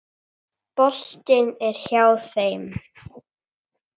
Boltinn er hjá þeim.